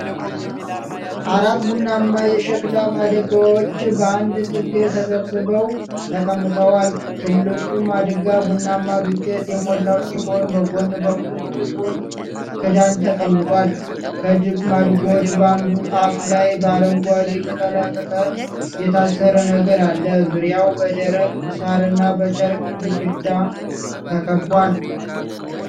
አራት ቡናማ የሸክላ ማድጋዎች በአንድ ጥግ ተሰብስበው ተቀምጠዋል። ትልቁ ማድጋ ቡናማ ዱቄት የሞላው ሲሆን፣ በጎን በኩል ጥቁር ክዳን ተቀምጧል። ከማድጋዎቹ በአንዱ አፍ ላይ በአረንጓዴ ቅጠላቅጠል የታሰረ ነገር አለ። ዙሪያው በደረቅ ሳርና በጨርቅ ግድግዳ ተከቧል።